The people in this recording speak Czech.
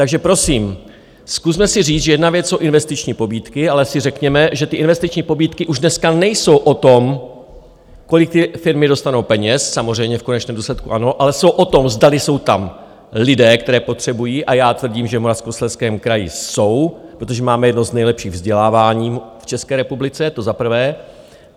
Takže prosím, zkusme si říct, že jedna věc jsou investiční pobídky, ale si řekněme, že ty investiční pobídky už dneska nejsou o tom, kolik ty firmy dostanou peněz, samozřejmě v konečném důsledku ano, ale jsou o tom, zdali jsou tam lidé, které potřebují - a já tvrdím, že v Moravskoslezském kraji jsou, protože máme jedno z nejlepších vzdělávání v České republice, to za prvé.